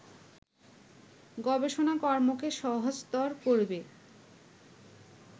গবেষণাকর্মকে সহজতর করবে